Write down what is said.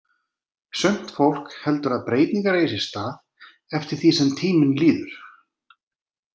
Sumt fólk heldur að breytingar eigi sér stað eftir því sem tíminn líður.